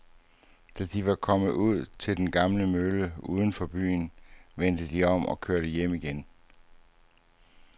Da de var kommet ud til den gamle mølle uden for byen, vendte de om og kørte hjem igen.